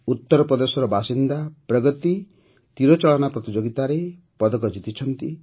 ଉତ୍ତରପ୍ରଦେଶର ବାସିନ୍ଦା ପ୍ରଗତି ତୀରଚାଳନା ପ୍ରତିଯୋଗିତାରେ ପଦକ ଜିତିଛନ୍ତି